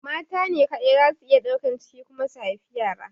Mata ne kaɗai zasu iya ɗaukan ciki kuma su haifi yara.